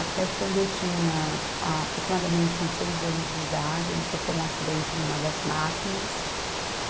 Até quando eu tinha a aproximadamente uns seis anos de idade, ele sofreu um acidente numa das máquinas.